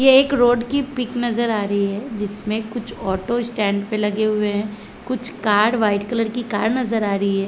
ये एक रोड की पिक नजर आ रही है जिसमें कुछ ऑटो स्टैंड पे लगे हुएं हैं कुछ कार्ड वाइट कलर की कार नजर आ रही है।